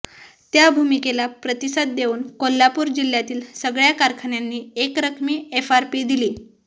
त्या भूमिकेला प्रतिसाद देऊन कोल्हापूर जिल्ह्यातील सगळया कारखान्यांनी एकरकमी एफआरपी दिली